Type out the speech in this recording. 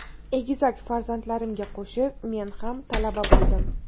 Egizak farzandlarimga qo‘shilib men ham talaba bo‘ldim.